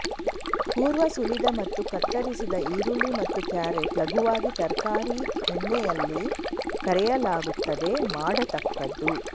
ಪೂರ್ವ ಸುಲಿದ ಮತ್ತು ಕತ್ತರಿಸಿದ ಈರುಳ್ಳಿ ಮತ್ತು ಕ್ಯಾರೆಟ್ ಲಘುವಾಗಿ ತರಕಾರಿ ಎಣ್ಣೆಯಲ್ಲಿ ಕರಿಯಲಾಗುತ್ತದೆ ಮಾಡತಕ್ಕದ್ದು